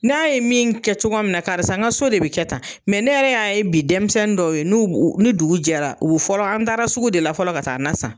N'a ye min kɛ cogoya min na karisa n ka so de bɛ kɛ tan, ne yɛrɛ y'a ye bi denmisɛnnin dɔw ye n'u ni dugu jɛra u bɛ fɔlɔ an taara sugu de la fɔlɔ ka taa na san.